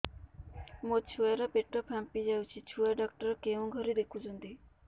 ମୋ ଛୁଆ ର ପେଟ ଫାମ୍ପି ଯାଉଛି ଛୁଆ ଡକ୍ଟର କେଉଁ ଘରେ ଦେଖୁ ଛନ୍ତି